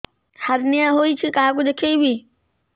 hernia ହୋଇଛି କାହାକୁ ଦେଖେଇବି